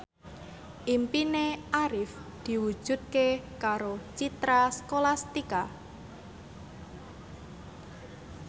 impine Arif diwujudke karo Citra Scholastika